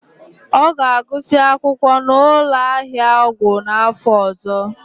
Ọ ga-agụsị akwụkwọ na ụlọ ahịa ọgwụ n'afọ ọzọ.